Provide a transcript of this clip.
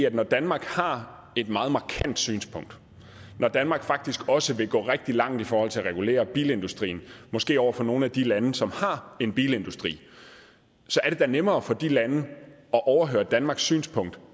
at når danmark har et meget markant synspunkt når danmark faktisk også vil gå rigtig langt i forhold til at regulere bilindustrien måske over for nogle af de lande som har en bilindustri så er det da nemmere for de lande at overhøre danmarks synspunkt